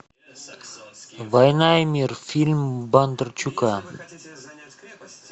война и мир фильм бондарчука